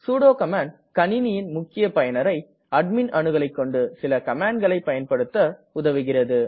sudo command கணிணியின் முக்கிய பயனரை அட்மிண் அணுகலைக்கொண்டு சில கமாண்ட்களை பயன்படுத்த உதவுகிறது